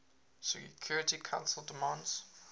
security council demands